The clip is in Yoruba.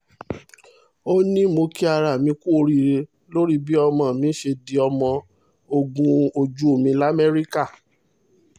ó ní mo kí ara mi kú oríire lórí bí ọmọ mi ṣe di ọmọ ogun ojú omi lamẹ́ríkà